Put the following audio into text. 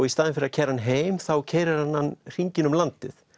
í staðinn fyrir að keyra hann heim þá keyrir hann hann hringinn um landið